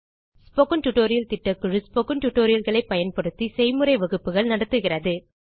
spoken tutorial திட்டக்குழு spoken tutorial களை பயன்படுத்தி செய்முறை வகுப்புகள் நடத்துகிறது